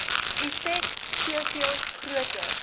effek soveel groter